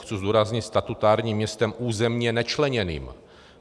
Chci zdůraznit - statutárním městem územně nečleněným.